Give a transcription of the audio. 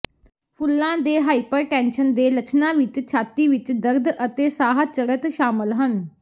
ਫੁੱਲਾਂ ਦੇ ਹਾਈਪਰਟੈਨਸ਼ਨ ਦੇ ਲੱਛਣਾਂ ਵਿੱਚ ਛਾਤੀ ਵਿੱਚ ਦਰਦ ਅਤੇ ਸਾਹ ਚੜ੍ਹਤ ਸ਼ਾਮਲ ਹਨ